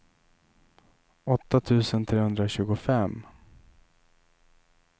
åtta tusen trehundratjugofem